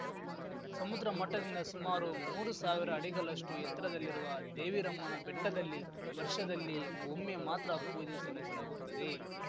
ಸಮುದ್ರಮಟ್ಟದಿಂದ ಸುಮಾರು ಮೂರು ಸಾವಿರ ಅಡಿಗಲಷ್ಟುಎತ್ತರದಲ್ಲಿರುವ ದೇವಿರಮ್ಮನ ಬೆಟ್ಟದಲ್ಲಿ ವರ್ಷದಲ್ಲಿ ಒಮ್ಮೆ ಮಾತ್ರ ಪೂಜೆ ಸಲ್ಲಿಸಲಾಗುತ್ತದೆ